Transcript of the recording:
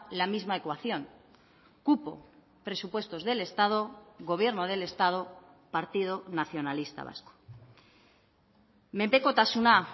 la misma ecuación cupo presupuestos del estado gobierno del estado partido nacionalista vasco menpekotasuna